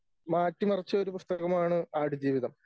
മാറ്റിമറിച്ച ഒരു പുസ്തകമാണ് ആടുജീവിതം.